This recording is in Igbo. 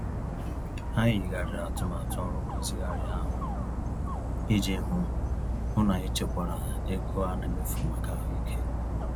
Anyị yigharịrị atụmatụ ọrụ nrụzigharị ahụ, iji hụ hụ n'anyị chekwara ego ana emefu màkà ahụike.